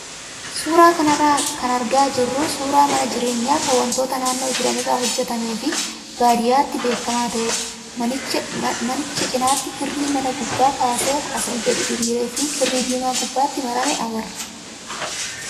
Suuraa kanarraa kan argaa jirru suuraa mana jireenyaa kan wantoota naannoo jiran irraa hojjatamee fi baadiyyaatti beekamaa ta'edha. Manicha cinaatti kirrii mana gubbaa kaasee asii gadi diriiree fi kirrii diimaa gubbatti marame agarra.